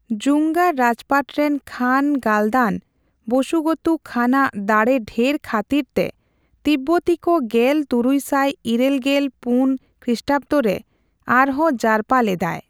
ᱡᱩᱝᱜᱟᱨ ᱨᱟᱡᱽᱯᱟᱴ ᱨᱮᱱ ᱠᱷᱟᱱ ᱜᱟᱞᱫᱟᱱ ᱵᱚᱥᱩᱜᱚᱛᱩ ᱠᱷᱟᱱᱟᱜ ᱫᱟᱲᱮᱰᱷᱮᱨ ᱠᱷᱟᱹᱛᱤᱨ ᱛᱮ ᱛᱤᱵᱵᱚᱛᱤ ᱠᱚ ᱜᱮᱞ ᱛᱩᱨᱩᱭᱥᱟᱭ ᱤᱨᱟᱹᱞ ᱜᱮᱞ ᱯᱩᱱ ᱠᱷᱤᱥᱴᱟᱵᱫᱚ ᱨᱮ ᱟᱨᱦᱚᱸ ᱡᱟᱨᱯᱟ ᱞᱮᱫᱟᱭ ᱾